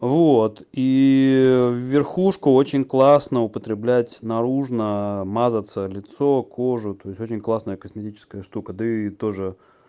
вот и верхушку очень классно употребляеть наружно мазаться лицо кожу то есть очень классная косметическая штука да и тоже